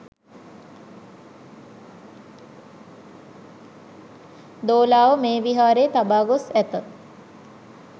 දෝලාව මේ විහාරයේ තබා ගොස් ඇත